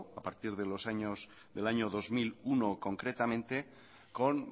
a partir del año dos mil uno concretamente con